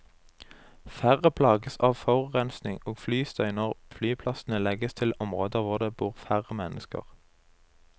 Færre plages av forurensning og flystøy når flyplassene legges til områder hvor det bor færre mennesker.